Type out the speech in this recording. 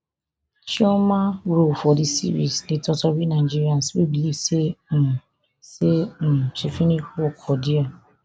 chioma role for di series dey totori nigerians wey believe say um say um she finish work for dia